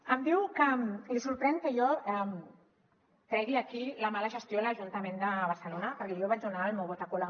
em diu que li sorprèn que jo tregui aquí la mala gestió a l’ajuntament de barcelona perquè jo vaig donar el meu vot a colau